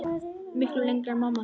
Miklu lengra en mamma gerði.